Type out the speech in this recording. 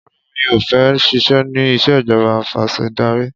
Rárá mi ò fẹ́ ṣiṣẹ́ ní ìṣèjọba afẹ̀sìndarí.